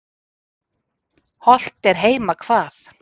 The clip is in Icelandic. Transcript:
Hollt er heima hvað.